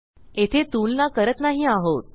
येथे तुलना करत नाही आहोत